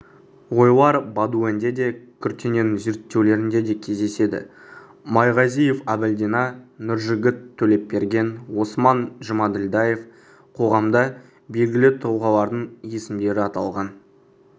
ойлар бодуэн де куртенэнің зерттеулерінде де кездеседі майғазиев әбілдина нұржігіт төлепберген осман жұмаділдаев қоғамда белгілі тұлғалардың есімдері аталған